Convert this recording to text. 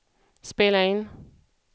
spela in